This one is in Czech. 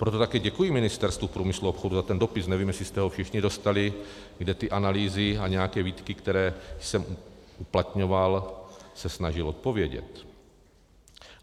Proto také děkuji Ministerstvu průmyslu a obchodu za ten dopis, nevím, jestli jste ho všichni dostali, kde ty analýzy a nějaké výtky, které jsem uplatňoval, se snažilo odpovědět.